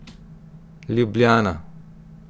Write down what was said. Ljubljana.